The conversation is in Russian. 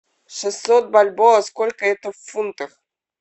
шестьсот бальбоа сколько это в фунтах